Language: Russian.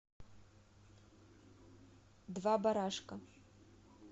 два барашка